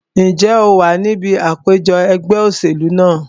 Ǹjẹ́ o wà ní ibi àpèjọ ẹgbẹ́ òṣèlú náà?